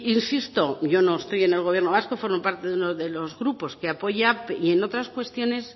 insisto yo no estoy en el gobierno vasco formo parte de uno de los grupos que apoya y en otras cuestiones